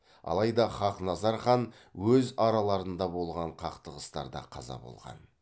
алайда хақназар хан өз араларында болған қақтығыстарда қаза болған